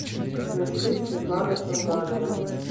включи светлана сурганова